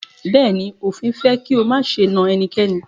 Bẹ̀ẹ́ni, òfin fẹ́ kí o máṣe na ẹnikẹ́ni.